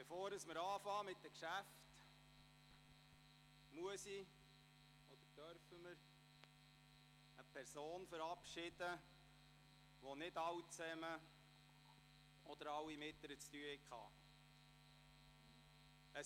Bevor wir mit den Geschäften beginnen, muss oder darf ich eine Person verabschieden, mit der nicht alle von Ihnen zu tun hatten.